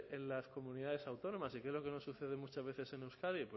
en las comunidades autónomas y creo que nos sucede muchas veces en euskadi